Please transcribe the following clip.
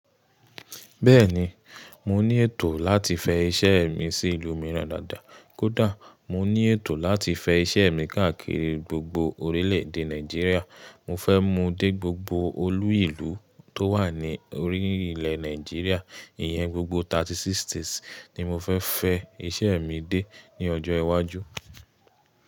Bẹ́ẹ̀ni, mo ní ètò láti fẹ iṣẹ́ mi sí ìlú mìíràn dáadáa. Kódà mo ní ètò láti fẹ iṣẹ́ mi káàkiri gbogbo orílẹ̀ èdè Nàìjíríà. Mo fẹ́ mú dé gbogbo olú ìlú tó wà ní orílẹ̀ Nàìjíríà. Ìyẹn gbogbo 36 states ni mo fẹ́ fẹ iṣẹ́ mi dé ní ọjọ́ iwájú.